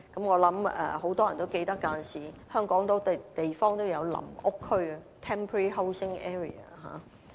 我相信很多人也記得，過往香港有很多地方也設有臨屋區。